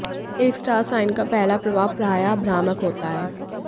एक star sign का पहला प्रभाव प्रायः भ्रामक होता है